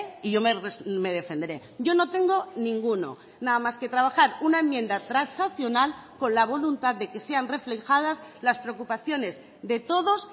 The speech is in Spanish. y yo me defenderé yo no tengo ninguno nada más que trabajar una enmienda transaccional con la voluntad de que sean reflejadas las preocupaciones de todos